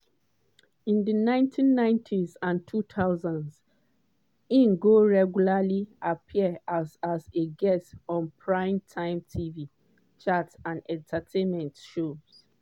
in di 1990s and 2000s im go regularly appear as as a guest on prime-time tv chat and entertainment shows.